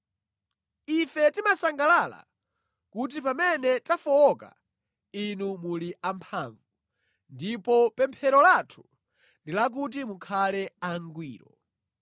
Ife timasangalala kuti pamene tafowoka, inu muli amphamvu; ndipo pemphero lathu ndi lakuti mukhale angwiro.